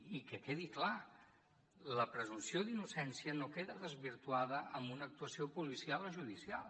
i que quedi clar la presumpció d’innocència no queda desvirtuada amb una actuació policial o judicial